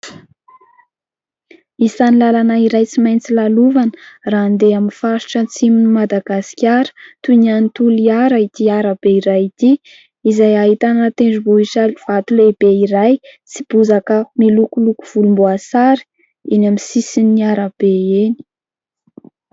Isany lalana iray tsy maintsy lalovana raha andeha amin'ny faritra antsimon'ny Madagasikara toy ny any toliara ity arabe iray ity , izay ahitana tendrombohitra vato lehibe iray sy bozaka milokoloko volomboasary eny amin'ny sisin'ny arabe eny.